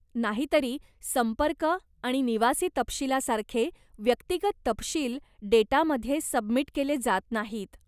नाही तरी संपर्क आणि निवासी तपशिलासारखे व्यक्तिगत तपशील डेटामध्ये सबमिट केले जात नाहीत.